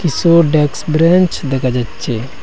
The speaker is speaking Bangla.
কিসু ডেক্স ব্রেনচ দেখা যাচ্ছে।